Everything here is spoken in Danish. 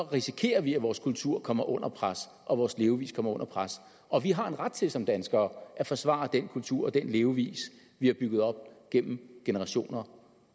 risikerer vi at vores kultur kommer under pres og vores levevis kommer under pres og vi har en ret til som danskere at forsvare den kultur og den levevis vi har bygget op gennem generationer